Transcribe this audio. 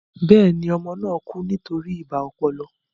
Bẹ́ẹ̀ni, ọmọ náà kú nítorí ibà ọpọlọ